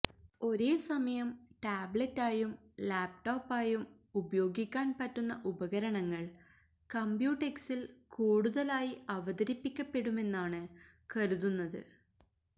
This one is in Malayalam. ഒരേസമയം ടാബ്ലറ്റായും ലാപ്ടോപായും ഉപയോഗിക്കാന് പറ്റുന്ന ഉപകരണങ്ങള് കമ്പ്യൂടെക്സില് കൂടുതലായി അവതരിപ്പിക്കപ്പെടുമെന്നാണ് കരുതുന്നത്